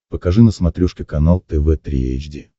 покажи на смотрешке канал тв три эйч ди